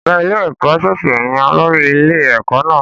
Ọ̀gá ilé-ẹ̀kọ́ ṣẹ̀ṣẹ̀ yan olórí ilé-ẹ̀kọ́ náà.